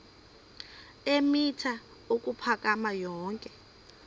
eemitha ukuphakama yonke